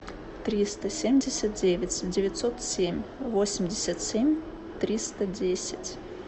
триста семьдесят девять девятьсот семь восемьдесят семь триста десять